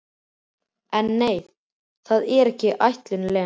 En nei, það var ekki ætlun Lenu.